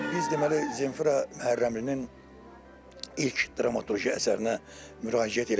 Biz deməli, Zemfira Məhərrəmlinin ilk dramaturji əsərinə müraciət elədik.